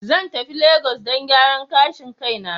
Zan tafi lagos don gyaran gashin kaina.